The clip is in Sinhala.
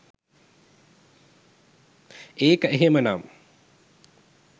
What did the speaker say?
ඒක එහෙමනම්